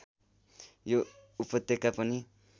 यो उपत्यका पनि